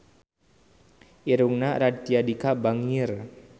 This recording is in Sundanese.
Irungna Raditya Dika bangir